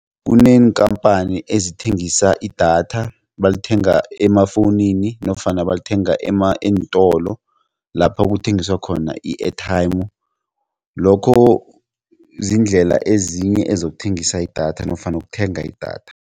Kuneenkhamphani ezithengisa idatha balithenga emafowunini nofana balithenga eentolo lapha kuthengiswa khona i-airtime lokho ziindlela ezinye ezokuthengisa idatha nofana ukuthenga idatha.